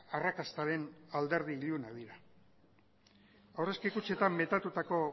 arrakastaren alderdi iluna dira aurrezki kutxetan metatutako